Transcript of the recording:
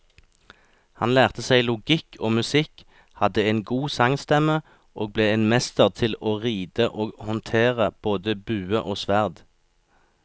Han lærte seg logikk og musikk, hadde en god sangstemme og ble en mester til å ride og håndtere både bue og sverd.